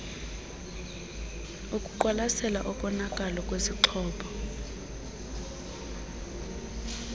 okuqwalasela ukonakala kwesixhobo